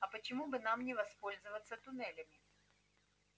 а почему бы нам не воспользоваться туннелями